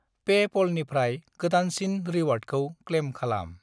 पेप'लनिफ्राय गोदानसिन रिवार्डखौ क्लेम खालाम।